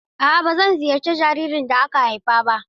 A'a ban ziyarci jaririn da aka haifa ba.